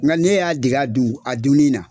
Nka ne y'a dege a dun a dunni na.